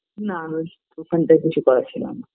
না দোকানটায় কিছু করার ছিল না